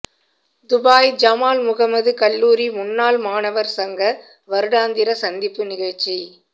Dubai Jamal Mohamed கல்லூரி முன்னாள் மாணவர் சங்க வருடாந்திர சந்திப்பு நிகழ்ச்சி